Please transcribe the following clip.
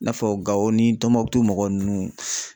I n'a fɔ gawo ni tɔnbukutu mɔgɔ nunnu